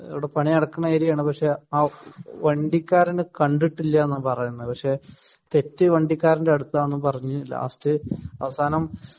ഇവിടെ പണി നടക്കുന്ന ഏരിയ ആണ് പക്ഷെ വണ്ടിക്കാരനെ കണ്ടിട്ടില്ല എന്നാണ് പറയുന്നത് പക്ഷെ തെറ്റ് വണ്ടിക്കാരന്റെ അടുത്താണെന്നും പറഞ്ഞു ലാസ്‌റ് അവസാനം